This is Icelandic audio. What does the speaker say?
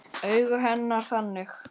Augu hennar þannig.